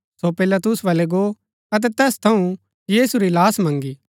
सो पिलातुस बल्लै गो अतै तैस थऊँ यीशु री लाहश मन्‍गी